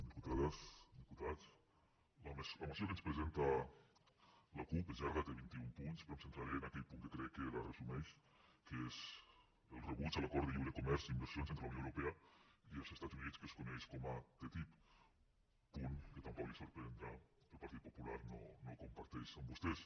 diputades diputats la moció que ens presenta la cup és llarga té vint i un punts però em centraré en aquell punt que crec que la resumeix que és el rebuig a l’acord de lliure comerç i inversions entre la unió europea unió i els estats units que es coneix com a ttip punt que tampoc els sorprendrà el partit popular no comparteix amb vostès